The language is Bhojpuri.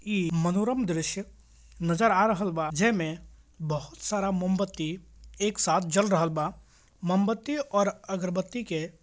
इ मनोरम दृश्य नजर आ रहल बा जे में बहुत सारा मोमबत्ती एक साथ जल रहल बा मोमबत्ती और अगरबत्ती के --